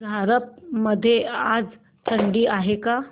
झारप मध्ये आज थंडी आहे का